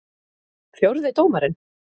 Fjórði dómarinn?